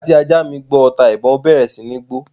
Nígbà tí ajá mi gbọ́ ọta-ìbon, ó bẹ̀rẹ̀ sí ní gbó